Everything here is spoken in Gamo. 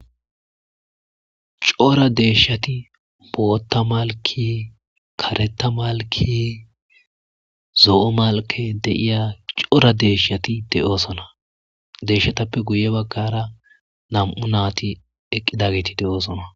Qora deshati botha mailike karta malike zo'o malike dia cora deshati deosona deshatuppe guye bagara namu nati eqidageti deososna.